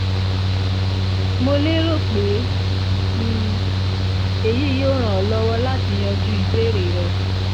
mo lérò pé um èyí yóò ràn ọ́ lọ́wọ́ láti yanjú ìbéèrè rẹ